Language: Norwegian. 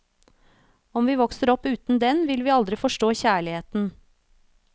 Om vi vokser opp uten den, vil vi aldri forstå kjærligheten.